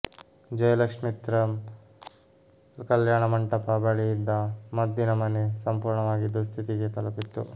ಜಯಲಕ್ಷಿತ್ರ್ಮ ಕಲ್ಯಾಣ ಮಂಟಪ ಬಳಿ ಇದ್ದ ಮದ್ದಿನ ಮನೆ ಸಂಪೂರ್ಣವಾಗಿ ದುಸ್ಥಿತಿಗೆ ತಲುಪಿತ್ತು